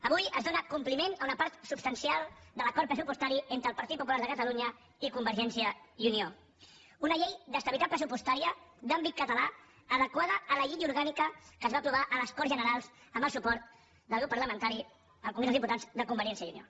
avui es dóna compliment a una part substancial de l’acord pressupostari entre el partit popular de catalunya i convergència i unió una llei d’estabilitat pressupostària d’àmbit català adequada a la llei orgànica que es va aprovar a les corts generals amb el suport del grup parlamentari al congrés dels diputats de convergència i unió